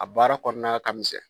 A baara kɔnɔna ka misɛn